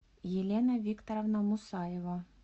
елена викторовна мусаева